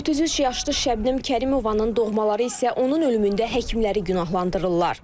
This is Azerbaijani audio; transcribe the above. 33 yaşlı Şəbnəm Kərimovanın doğmaları isə onun ölümündə həkimləri günahlandırırlar.